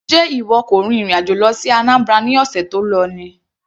Sé ìwọ kò rin ìrìn àjò lọ sí Anambra ní ọ̀sẹ̀ tó lọ ni.